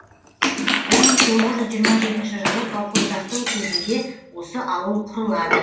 бір мың тоғыз жүз жиырма жетінші жылы колхоздастыру кезінде осы ауыл құрылады